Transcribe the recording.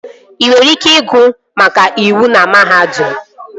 Ị nwere ike ịgụ maka iwu na mahadum